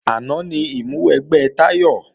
Àná ni ìmúwẹgbẹ́ Táyọ̀